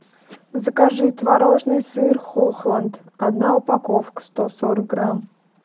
закажи творожный сыр хохланд одна упаковка сто сорок грамм